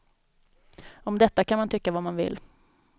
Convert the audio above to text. Om detta kan man tycka vad man vill.